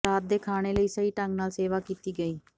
ਰਾਤ ਦੇ ਖਾਣੇ ਲਈ ਸਹੀ ਢੰਗ ਨਾਲ ਸੇਵਾ ਕੀਤੀ ਗਈ